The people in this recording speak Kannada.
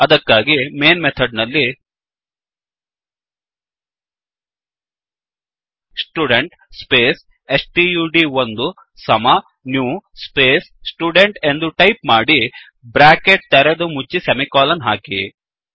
ಅದಕ್ಕಾಗಿ ಮೈನ್ ಮೆಥಡ್ ನಲ್ಲಿ ಸ್ಟುಡೆಂಟ್ ಸ್ಪೇಸ್ ಸ್ಟಡ್1 ಸಮ ನ್ಯೂ ಸ್ಪೇಸ್ ಸ್ಟುಡೆಂಟ್ ಎಂದು ಟೈಪ್ ಮಾಡಿ ಬ್ರ್ಯಾಕೆಟ್ ತೆರೆದು ಮುಚ್ಚಿ ಸೆಮಿಕೋಲನ್ ಹಾಕಿ